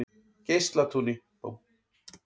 Geislatúni